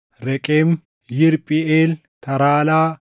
Reqem, Yirphiʼeel, Taraalaa,